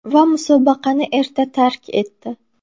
Va musobaqani erta tark etdi.